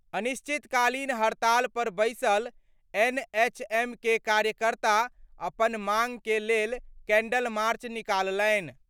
अनिश्चितकालीन हड़ताल पर बैसल एनएचएम के कार्यकर्ता अपन मांग के लेल कैंडल मार्च निकालनि।